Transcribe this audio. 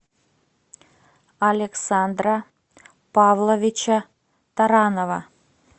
александра павловича таранова